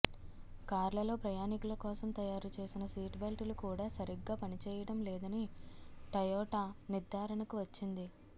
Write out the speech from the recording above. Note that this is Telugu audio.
కార్లలో ప్రయాణికుల కోసం తయారుచేసిన సీట్ బెల్టులు కూడా సరిగ్గా పని చేయడం లేదని టయోటా నిర్ధారణకు వచ్చింది